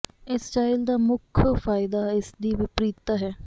ਇਸ ਸਟਾਈਲ ਦਾ ਮੁੱਖ ਫਾਇਦਾ ਇਸ ਦੀ ਵਿਪਰੀਤਤਾ ਹੈ